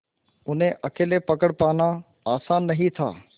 उन्हें अकेले पकड़ पाना आसान नहीं था